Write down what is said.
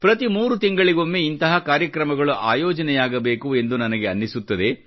ಪ್ರತಿ ಮೂರು ತಿಂಗಳಿಗೊಮ್ಮೆ ಇಂತಹ ಕಾರ್ಯಕ್ರಮಗಳು ಅಯೋಜನೆಯಾಗಬೇಕು ಎಂದು ನನಗೆ ಅನ್ನಿಸುತ್ತದೆ